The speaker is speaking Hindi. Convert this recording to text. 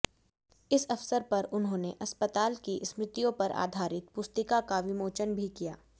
इस अवसर पर उन्होंने अस्पताल की स्मृतियों पर आधारित पुस्तिका का विमोचन भी किया